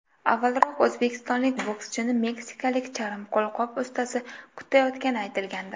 Avvalroq o‘zbekistonlik bokschini meksikalik charm qo‘lqop ustasi kutayotgani aytilgandi.